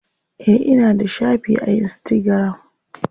Eh ina da shafi a insitagiram.